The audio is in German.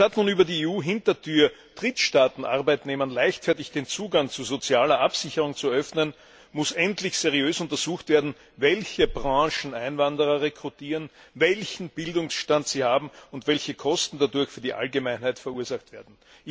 Anstatt nun über die EU Hintertür Drittstaatenarbeitnehmern leichtfertig den Zugang zu sozialer Absicherung zu eröffnen, muss endlich seriös untersucht werden, welche Branchen Einwanderer rekrutieren, welchen Bildungsstand sie haben und welche Kosten dadurch für die Allgemeinheit verursacht werden.